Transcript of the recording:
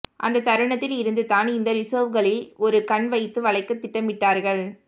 அந்த தருணத்தில் இருந்து தான் இந்த ரிசர்வ்களில் ஒரு கண் வைத்து வளைக்க திட்டமிட்டார்கள்